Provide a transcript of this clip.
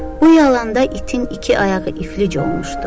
Bu yalanda itin iki ayağı iflic olmuşdu.